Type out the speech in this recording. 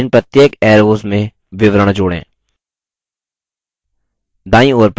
add इन प्रत्येक arrows में विवरण जोड़ें